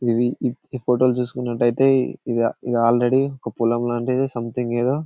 ఇది ఈ ఫొటోస్ చేసుకున్నట్టు అయితే ఇది ఆల్రెడీ ఒక పొలం లాంటిది సొమెథింగ్ ఏదో--